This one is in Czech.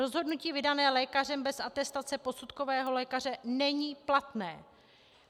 Rozhodnutí vydané lékařem bez atestace posudkového lékaře není platné.